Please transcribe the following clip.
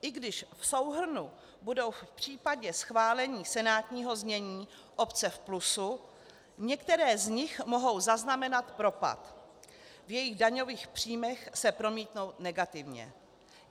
I když v souhrnu budou v případě schválení senátního znění obce v plusu, některé z nich mohou zaznamenat propad, v jejich daňových příjmech se promítnou negativně.